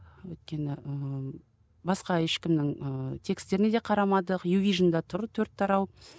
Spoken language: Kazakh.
өйткені ііі басқа ешкімнің ііі текстеріне де қарамдық ювижнде тұр төрт тарау